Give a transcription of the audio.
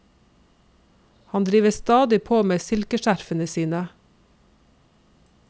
Han driver stadig på med silkeskjerfene sine.